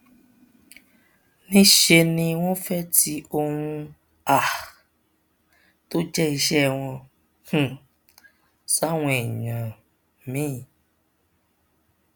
níṣẹ ni wọn fẹẹ ti ohun um tó jẹ iṣẹ wọn um sáwọn èèyàn míín